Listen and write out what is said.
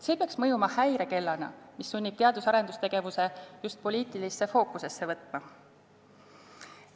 See peaks mõjuma häirekellana, mis sunnib teadus- ja arendustegevuse just poliitilisse fookusesse võtma.